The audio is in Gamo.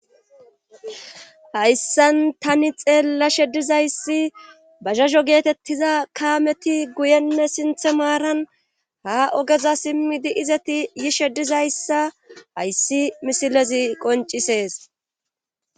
hayssan tani xeella shedizayssi bahazho geetettiza kaameti guyenne sinthe maaran ha ogeza simmidi izeti yishedizayssa hayssi misilezi qoncisees